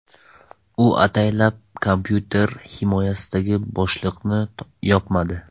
U ataylab kompyuter himoyasidagi bo‘shliqlarini yopmadi.